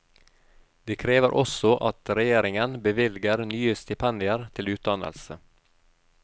De krever også at regjeringen bevilger nye stipendier til utdannelse.